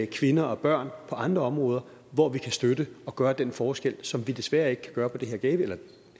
kvinder og børn på andre områder hvor vi kan støtte og gøre den forskel som vi desværre ikke kan gøre på det her gavi eller